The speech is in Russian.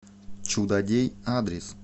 чудодей адрес